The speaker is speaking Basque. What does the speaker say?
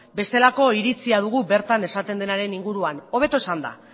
bestelako iritzia dugu bertan esaten denaren inguruan hobeto esanda